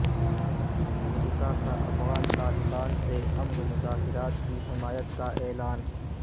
امریکہ کا افغان طالبان سے امن مذاکرات کی حمایت کا اعلان